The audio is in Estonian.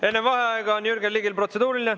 Enne vaheaega on Jürgen Ligil protseduuriline.